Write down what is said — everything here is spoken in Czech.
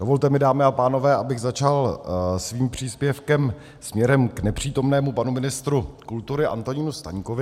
Dovolte mi, dámy a pánové, abych začal svým příspěvkem směrem k nepřítomnému panu ministru kultury Antonínu Staňkovi.